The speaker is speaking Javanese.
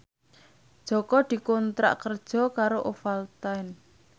Jaka dikontrak kerja karo Ovaltine